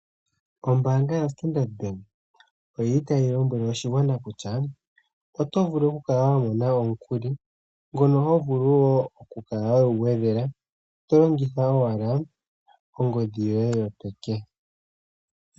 Ombaanga ya Standard Bank, oyi li tayilombwele oshigwana kutya ota ya vulu okumona omukuli, ngono hovulu woo oku kala wegugwedhela tolongitha owala ongodhi yoye yopeke.